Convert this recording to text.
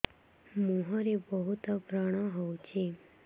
ମୁଁହରେ ବହୁତ ବ୍ରଣ ହଉଛି